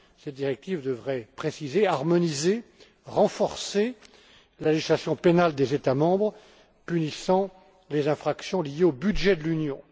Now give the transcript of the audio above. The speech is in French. Cette directive devrait préciser, harmoniser et renforcer la législation pénale des États membres punissant les infractions liées au budget de l'Union.